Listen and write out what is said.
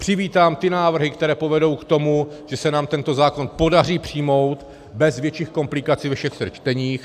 Přivítám ty návrhy, které povedou k tomu, že se nám tento zákon podaří přijmout bez větších komplikací ve všech třech čteních.